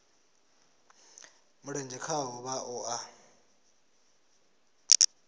mulenzhe khaho vha o a